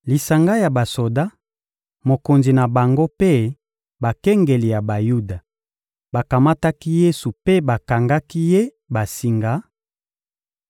Lisanga ya basoda, mokonzi na bango mpe bakengeli ya Bayuda bakamataki Yesu mpe bakangaki Ye basinga;